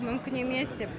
мүмкін емес деп